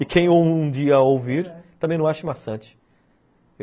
E quem um dia ouvir também não ache maçante.